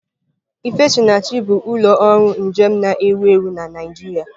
Ifesinachi bụ ụlọ ọrụ njem na-ewu ewu na Naịjirịa.